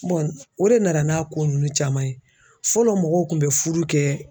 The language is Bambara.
o de nana n'a ko ninnu caman ye fɔlɔ mɔgɔw kun bɛ furu kɛ